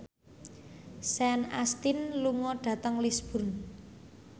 Sean Astin lunga dhateng Lisburn